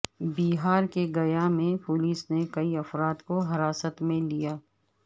بہار کے گیا میں پولس نے کئی افراد کو حراست میں لیا